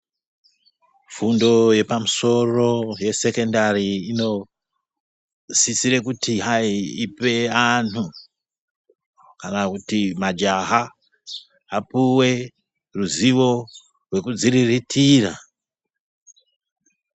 Fundo yepamusoro yesecondari inosisire kuti hai ipe anhu kana kuti majaha apuwe ruzivo rwekuzvirirtira.